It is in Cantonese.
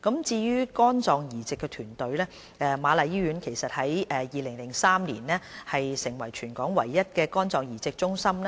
至於肝臟移植團隊，瑪麗醫院於2003年成立全港唯一的肝臟移植中心。